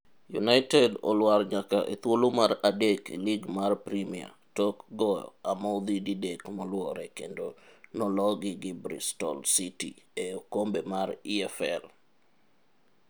United olwar nyaka e thuolo mar adek e lig mar premia tok go amodhi didek moluore kendo nologi gi Bristol City e okombe mar EFL.